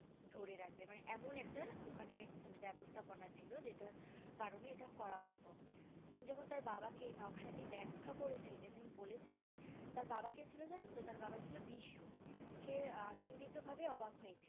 ধরে রাখবে মানে এমন একটা ওখানে ব্যাবস্থাপনা ছিল যেটার কারণে ইটা করা হতো তিনি যখন তার বাবাকে নকশাটি ব্যাখ্যা করেছিলেন এবং বলেছিলেন তার বাবাকে ছিল জানতো তার বাবছিলো বিশ্ব সে আনন্দিত ভাবে অবাক হয়েছিল